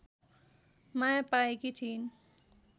माया पाएकी थिइन्